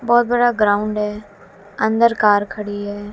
बहोत बड़ा ग्राउंड हैं अंदर कार खड़ी हैं।